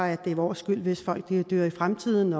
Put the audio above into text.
at det er vores skyld hvis folk dør i fremtiden